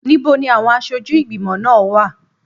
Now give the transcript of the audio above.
Níbo ni àwọn aṣojú ìgbìmọ̀ náà wà?